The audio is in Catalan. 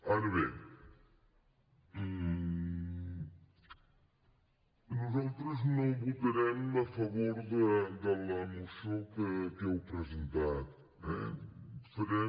ara bé nosaltres no votarem a favor de la moció que heu presentat eh farem